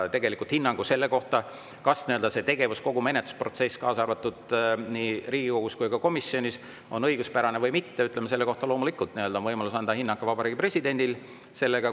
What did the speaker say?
Tegelikult selle kohta, kas see tegevus, kogu menetlusprotsess nii Riigikogus kui ka komisjonis on õiguspärane või mitte, selle kohta loomulikult on võimalus anda hinnang ka Vabariigi Presidendil.